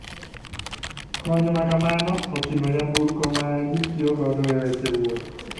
Kony makamano otingo nyamburko ma gitiyo godo e weche wuoth.